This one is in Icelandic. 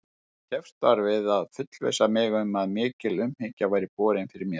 Keppst var við að fullvissa mig um að mikil umhyggja væri borin fyrir mér.